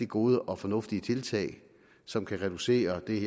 gode og fornuftige tiltag som kan reducere det